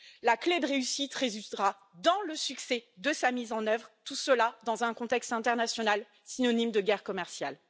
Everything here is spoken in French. La clé de la réussite résidera dans le succès de sa mise en œuvre, tout cela dans un contexte international synonyme de guerre commerciale.